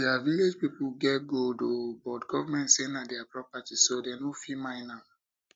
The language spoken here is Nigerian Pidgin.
dia village people get gold oo but government say na dia property so dem no fit mine am